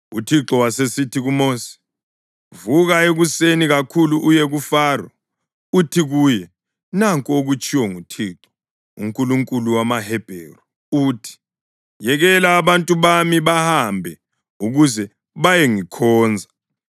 UThixo wasesithi kuMosi, “Vuka ekuseni kakhulu uye kuFaro, uthi kuye, ‘Nanku okutshiwo nguThixo, uNkulunkulu wamaHebheru, uthi, yekela abantu bami bahambe ukuze bayengikhonza.